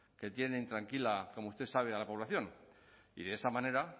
que tienen intranquila como usted sabe a la población y de esa manera